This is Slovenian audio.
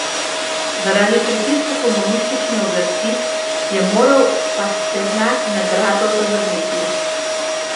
Zaradi pritiska komunistične oblasti je moral Pasternak nagrado zavrniti.